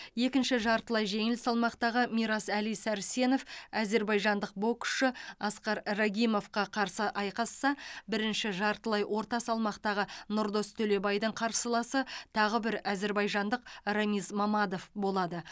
екінші жартылай жеңіл салмақтағы мирас әли сәрсенов әзербайжандық боксшы аскар рагимовқа қарсы айқасса бірінші жартылай орта салмақтағы нұрдос төлебайдың қарсыласы тағы бір әзербайжандық рамиз мамадов болады